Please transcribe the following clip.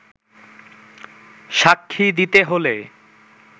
সাক্ষী দিতে হলে